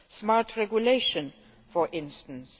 Smart regulation for instance.